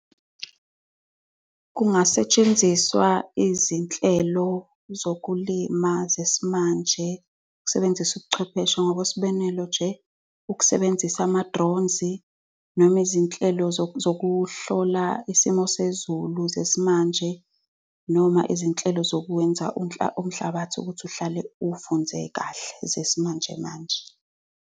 Kungasetshenziswa izinhlelo zokulima zesimanje, ukusebenzisa ubuchwepheshe. Ngokwesibonelo nje, ukusebenzisa ama-drones, noma izinhlelo zokuhlola isimo sezulu zesimanje, noma izinhlelo zokwenza umhlabathi ukuthi uhlale uvunde kahle, ezesimanjemanje.